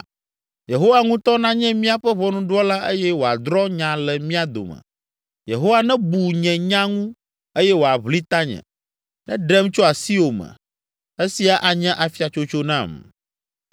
Yehowa ŋutɔ nanye míaƒe ʋɔnudrɔ̃la eye wòadrɔ̃ nya le mía dome. Yehowa nebu nye nya ŋu eye wòaʋli tanye, neɖem tso asiwò me, esia anye afiatsotso nam.”